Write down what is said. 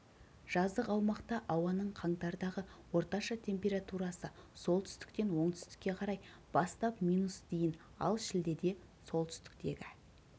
жазық аумақта ауаның қаңтардағы орташа температурасы солтүстіктен оңтүстікке қарай бастап минус дейін ал шілдеде солтүстіктегі